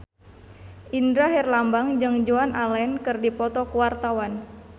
Indra Herlambang jeung Joan Allen keur dipoto ku wartawan